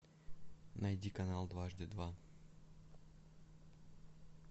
найди канал дважды два